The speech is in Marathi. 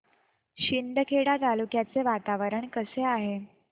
शिंदखेडा तालुक्याचे वातावरण कसे आहे